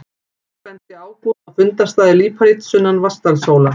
Einnig benti Ágúst á fundarstaði líparíts sunnan Vatnsdalshóla.